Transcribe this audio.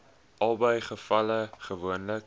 albei gevalle gewoonlik